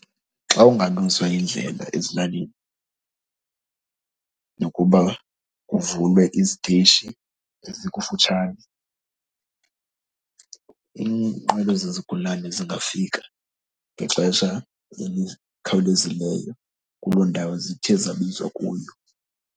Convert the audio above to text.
Xa kungalungiswa indlela ezilalini nokuba kuvulwe iziteyishi ezikufutshane, iinqwelo zezigulana zingafika ngexesha elikhawulezileyo kuloo ndawo zithe zabizwa kuyo.